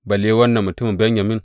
Balle wannan mutumin Benyamin!